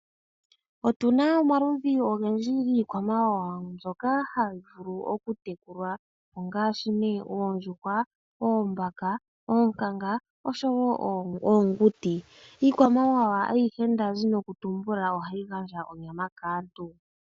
Otu na omaludhi ogendji giikwamawawa mbyoka hayi vulu oku tekulwa, ongaashi nee oondjuhwa, oombaka, oonkanga osho woo oonguti. Iikwamawawa mbino ohayi gandja onyama kaantu.